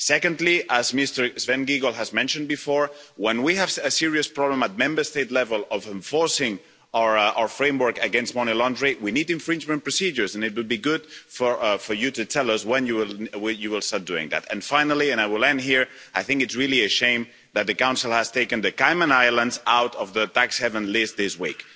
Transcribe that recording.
Secondly, as Mr Sven Giegold has mentioned before, when we have a serious problem at Member State level of enforcing our framework against money laundering, we need infringement procedures, and it would be good, Commissioner, for you to tell us when you will start doing that. Finally, and I will end here, I think it is a real shame that the Council has taken the Cayman Islands out of the tax haven list this week.